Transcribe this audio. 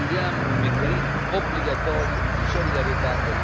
Noi vogliamo un meccanismo obbligatorio di solidarietà